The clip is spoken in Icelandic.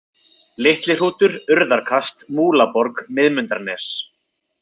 Litlihrútur, Urðarkast, Múlaborg, Miðmundanes